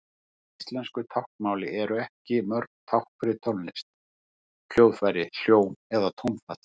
Í íslensku táknmáli eru ekki mörg tákn fyrir tónlist, hljóðfæri, hljóm eða tónfall.